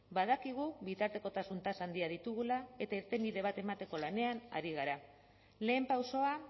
badakigu bitartekotasun tasa handiak ditugula eta irtenbide bat emateko lanean ari gara lehen pausoa